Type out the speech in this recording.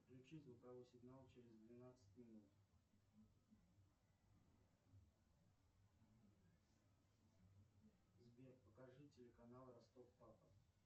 включи звуковой сигнал через двенадцать минут сбер покажи телеканал ростов папа